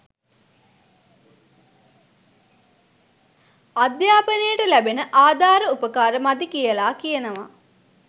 අධ්‍යාපනයට ලැබෙන ආධාර උපකාර මදි කියලා කියනවා